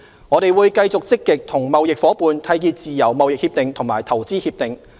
我們會繼續積極與貿易夥伴締結自由貿易協定和投資協定。